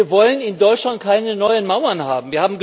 Wir wollen in Deutschland keine neuen Mauern haben.